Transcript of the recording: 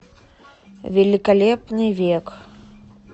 великолепный век